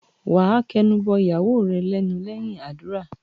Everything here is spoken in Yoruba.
Wà á kẹnu bọ ìyàwó rẹ lẹ́nu lẹ́yìn àdúrà.